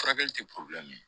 Furakɛli tɛ